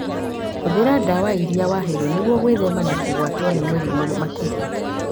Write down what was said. Hũthĩra ndawa irĩa waheirwo nĩguo gwĩthema na kũgwatwo nĩ mĩrimũ makĩria